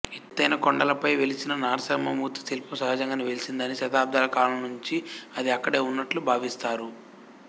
ఎత్తైన కొండలపై వెలసిన నారసింహమూర్తి శిల్పం సహజంగానే వెలసిందని శతాబ్ధాల కాలం నుంచి అది అక్కడే వున్నట్లు భావిస్తారు